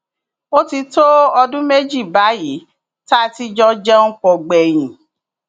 ó ti tó ọdún méjì báyìí tá a ti jọ jẹun pọ gbẹyìn